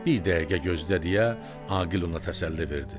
Bir dəqiqə gözlə deyə Aqil ona təsəlli verdi.